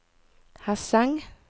Hesseng